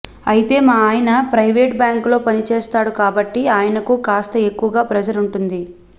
అయితే మా ఆయన ప్రైవేట్ బ్యాంక్ లో పని చేస్తాడు కాబట్టి ఆయనకు కాస్త ఎక్కువగా ప్రెజర్ ఉంటుంది